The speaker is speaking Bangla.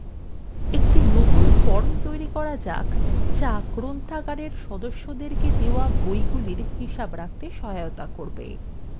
একটি নতুন form তৈরী করা যাক যা গ্রন্থাগারের সদস্যদের দেওয়া বইগুলির হিসাব রাখতে সহায়তা করবে